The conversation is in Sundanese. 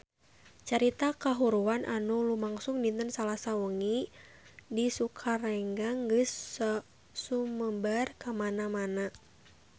Carita kahuruan anu lumangsung dinten Salasa wengi di Sukaregang geus sumebar kamana-mana